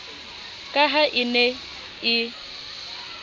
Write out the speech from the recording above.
ka ha e ne e